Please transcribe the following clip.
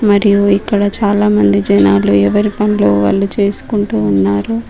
మరియు ఇక్కడ చాలామంది జనాలు ఎవరి పనులో వాళ్ళు చేసుకుంటూ ఉన్నారు.